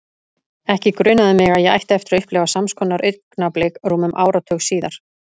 Ekki grunaði mig að ég ætti eftir að upplifa sams konar augnablik rúmum áratug síðar.